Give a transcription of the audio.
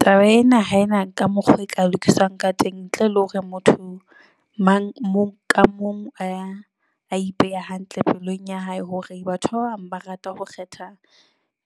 Taba ena ha ena ka mokgwa oo e ka lokiswang ka teng ntle le hore motho mang moo ka mong a ipeha hantle pelong ya hae. Hore batho ba bang ba rata ho kgetha